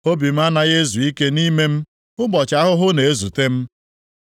Obi m anaghị ezu ike nʼime m; ụbọchị ahụhụ na-ezute m.